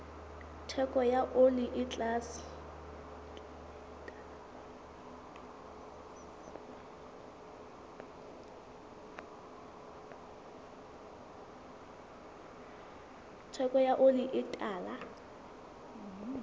theko ya oli e tala